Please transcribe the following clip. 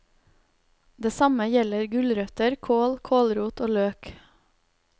Det samme gjelder gulrøtter, kål, kålrot og løk.